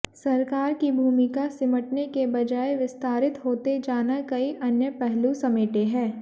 सरकार की भूमिका सिमटने के बजाय विस्तारित होते जाना कई अन्य पहलू समेटे है